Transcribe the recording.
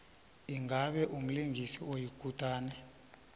ingabe umlingisi oyikutani